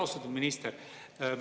Austatud minister!